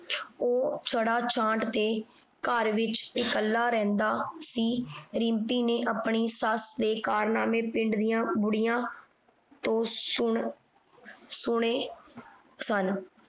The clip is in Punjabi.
ਉਹ ਛੜਾ ਛਾਂਟ ਤੇ ਘਰ ਵਿਚ ਇਕੱਲਾ ਰਹਿੰਦਾ ਸੀ। ਰਿੰਪੀ ਨੇ ਆਪਣੀ ਸੱਸ ਦੇ ਕਾਰਨਾਮੇ ਪਿੰਡ ਦੀਆਂ ਬੁਢੀਆਂ ਤੋਂ ਸੁਣ ਸੁਣੇ ਸਨ।